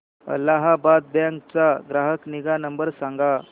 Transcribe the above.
Allahabad bank चा ग्राहक निगा नंबर सांगा